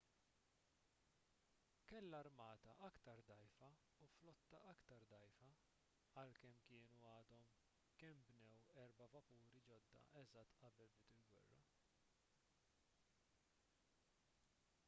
kellha armata aktar dgħajfa u flotta aktar dgħajfa għalkemm kienu għadhom kemm bnew erba' vapuri ġodda eżatt qabel bdiet il-gwerra